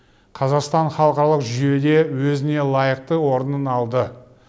қазақстан халықаралық жүйеде өзіне лайықты орнын алды